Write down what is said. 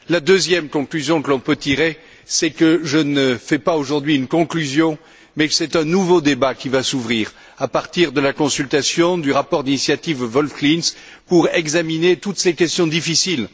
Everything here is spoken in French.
La deuxième conclusion que l'on peut tirer, c'est que je ne fais pas aujourd'hui une conclusion, mais que c'est un nouveau débat qui va s'ouvrir, à partir de la consultation, du rapport d'initiative Wolf Klinz, pour examiner toutes ces questions difficiles.